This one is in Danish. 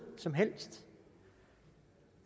som helst